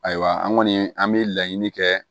Ayiwa an kɔni an bɛ laɲini kɛ